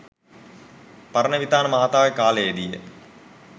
පරණවිතාන මහතාගේ කාලයේදීය.